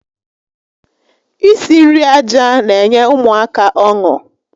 Isi nri aja n'enye ụmụaka ọṅụ